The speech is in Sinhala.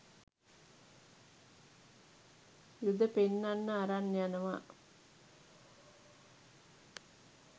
යුද පෙන්නන්න අරන් යනවා